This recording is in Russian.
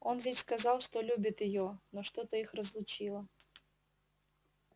он ведь сказал что любит её но что-то их разлучило